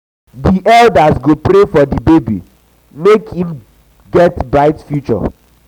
di elders go pray for di baby make im im future dey bright.